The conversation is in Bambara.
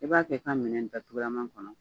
I b'a kɛ i ka minɛn datugulama kɔnɔ